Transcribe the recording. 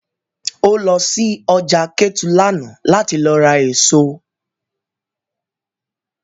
O lọ sí ọjà Kétu lánàá láti lọ ra èso